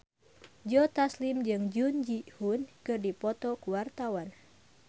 Joe Taslim jeung Jun Ji Hyun keur dipoto ku wartawan